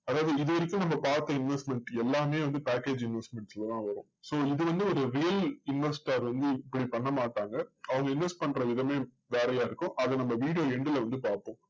அதாவது இதுவரைக்கும் நம்ம பாத்த investment எல்லாமே வந்து package investment லதான் வரும். so இது வந்து ஒரு real investor வந்து இப்படி பண்ண மாட்டாங்க. அவங்க invest பண்ற விதமே வேறயா இருக்கும். அது நம்ம video end ல வந்து பார்ப்போம்.